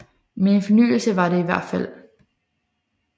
Men en fornyelse var det i hvert fald